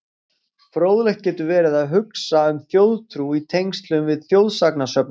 Fróðlegt getur verið að huga að þjóðtrú í tengslum við þjóðsagnasöfnun.